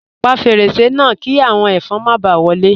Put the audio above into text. Pa fẹ́rẹ̀sẹ̀ náà, kí awọn ẹfọn má bá wọlé.